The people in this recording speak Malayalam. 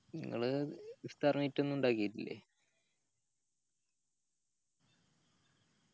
ഇങ്ങള് ഇഫ്താർ meet ഒന്നു ഇണ്ടാകിട്ടില്ലേ